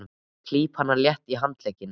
Ég klíp hana létt í handlegginn.